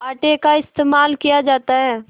आटे का इस्तेमाल किया जाता है